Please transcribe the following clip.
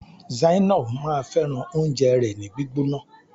Zainab máa fẹràn oúnjẹ rẹ ni gbígbóná.